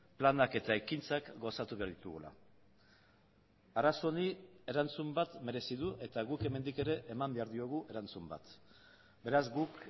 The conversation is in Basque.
planak eta ekintzak gauzatu behar ditugula arazo honi erantzun bat merezi du eta guk hemendik ere eman behar diogu erantzun bat beraz guk